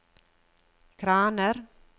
kraner